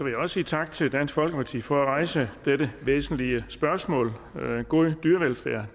jeg også sige tak til dansk folkeparti for at rejse dette væsentlige spørgsmål god dyrevelfærd